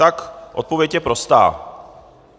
Tak odpověď je prostá.